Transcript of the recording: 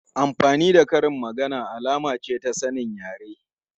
Amfani da karin magana alama ce ta sanin yare.